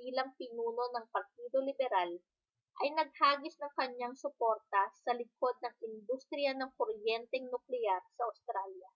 bilang pinuno ng partido liberal ay naghagis ng kaniyang suporta sa likod ng industriya ng kuryenteng nuklear sa australya